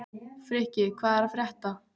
Frikki, hvað er að frétta?